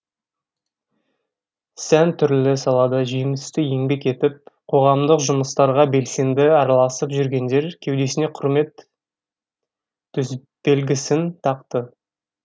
сән түрлі салада жемісті еңбек етіп қоғамдық жұмыстарға белсенді араласып жүргендер кеудесіне құрмет төсбелгісін тақты